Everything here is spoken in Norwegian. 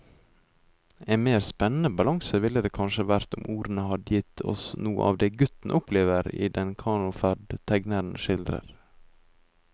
En mer spennende balanse ville det kanskje vært om ordene hadde gitt oss noe av det gutten opplever i den kanoferd tegneren skildrer.